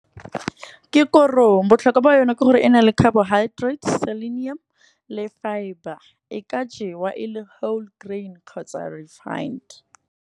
Ke korong botlhokwa ba yone ke gore e na le carbohydrates, selenium le fibre. E ka jewa e le whole grain kgotsa refined.